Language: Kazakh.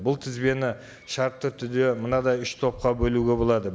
бұл тізбені шартты түрде мынадай үш топқа бөлуге болады